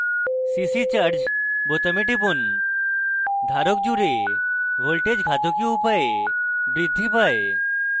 cc charge বোতামে টিপুন ধারক জুড়ে voltage ঘাতকীয় উপায়ে বৃদ্ধি পায়